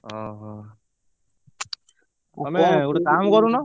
ଓହୋ ତମେ ଗୋଟେ କାମ କରୁନ।